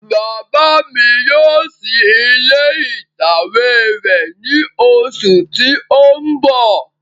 Bàbá mi yóò ṣí ilé ìtàwé rẹ̀ ní oṣù tí ó ń bọ̀